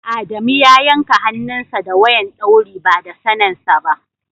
Adamu ya yanka hannun sa da wayan dauri ba da sanen sa.